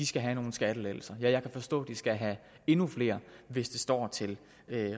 skal have nogle skattelettelser ja jeg kan forstå at de skal have endnu flere hvis det står til